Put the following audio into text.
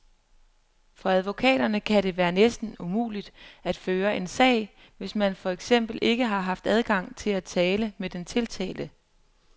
For advokaterne kan det være næsten umuligt at føre en sag, hvis man for eksempel ikke har haft adgang til at tale med den tiltalte.